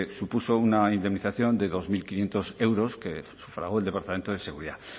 supuso una indemnización de dos mil quinientos euros que sufragó el departamento de seguridad